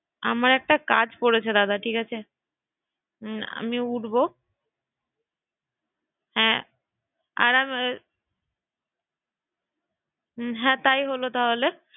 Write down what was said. আমার একটা কাজ পড়েছে দাদা বেশ ঠিক আছে আমি উঠবো ঠিক আছে তুই রেডি হয়ে নে আচ্ছা বেশ হ্যাঁসেই কোথায় রইলো হ্যাঁ তাই হলো তাহলে